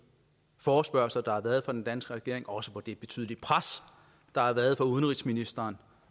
forespørgsler der har været fra den danske regerings også på det betydelige pres der har været fra udenrigsministeren